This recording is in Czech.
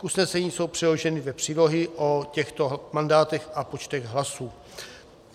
K usnesení jsou přiloženy dvě přílohy o těchto mandátech a počtech hlasů.